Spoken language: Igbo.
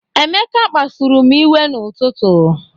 Emeka kpasuru m iwe n'ụtụtụ.